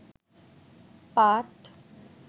পাট